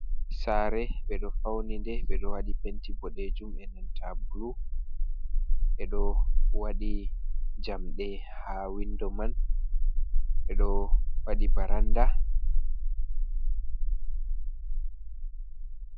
Sare ɓe ɗo fauni nde ɓe ɗo waɗi penti boɗejum e nanta blu. Ɓe ɗo waɗi jamdi ha windo man, ɓe ɗo waɗi varanda.